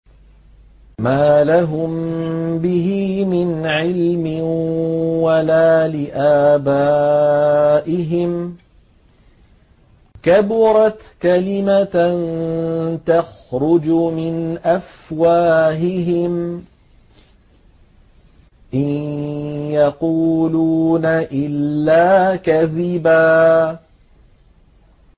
مَّا لَهُم بِهِ مِنْ عِلْمٍ وَلَا لِآبَائِهِمْ ۚ كَبُرَتْ كَلِمَةً تَخْرُجُ مِنْ أَفْوَاهِهِمْ ۚ إِن يَقُولُونَ إِلَّا كَذِبًا